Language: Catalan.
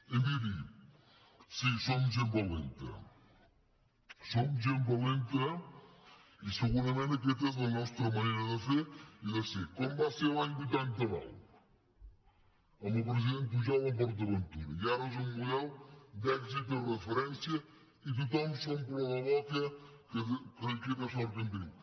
i mirin sí som gent valenta som gent valenta i segurament aquesta és la nostra manera de fer i de ser com ho va ser l’any vuitanta nou amb el president pujol amb port aventura i ara és un model d’èxit i referència i tothom s’omple la boca que quina sort que en tenim